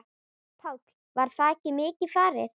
Páll: Var þakið mikið farið?